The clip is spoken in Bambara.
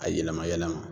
A yɛlɛma yɛlɛma